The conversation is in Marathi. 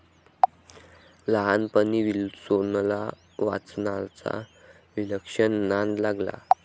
लहानपणी विल्सोनला वाचनाचा विलक्षण नाद लागला.